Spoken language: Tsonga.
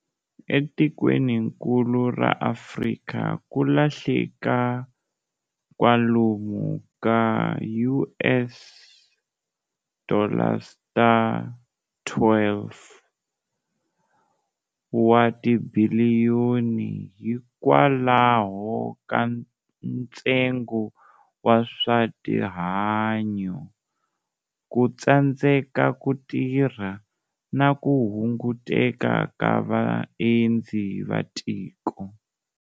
Etikweninkulu ra Afrika, kulahleka kwalomu ka US dollars ta 12 wa tibhiliyoni hikwalaho ka nstengo wa swa tihanyo, ku tsandzeka ku tirha, na ku hunguteka ka vaendzi va tiko.